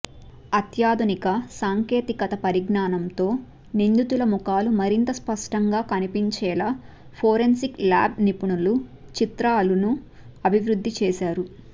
అత్యాధునిక సాంకేతిక పరిజ్ఞానంతో నిందితుల ముఖాలు మరింత స్పష్టంగా కనిపించేలా ఫోరెన్సిక్ ల్యాబ్ నిపుణులు చిత్రాలను అభివృద్ధి చేశారు